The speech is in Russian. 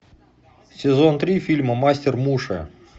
сезон три фильма мастер муши